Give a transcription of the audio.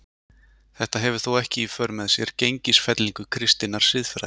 Þetta hefur þó ekki í för með sér gengisfellingu kristinnar siðfræði.